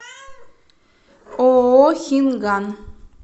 ооо хинган